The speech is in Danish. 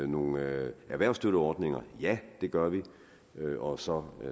nogle erhvervsstøtteordninger ja det gør vi og så